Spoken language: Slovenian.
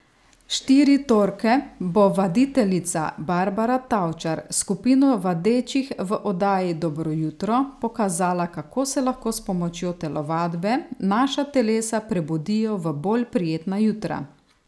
Štiri torke bo vaditeljica Barbara Tavčar s skupino vadečih v oddaji Dobro jutro pokazala, kako se lahko s pomočjo telovadbe naša telesa prebudijo v bolj prijetna jutra.